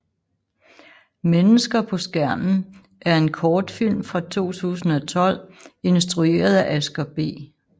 Mennesker på Skærmen er en kortfilm fra 2012 instrueret af Asger B